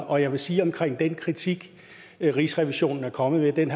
og jeg vil sige om den kritik rigsrevisionen er kommet med at den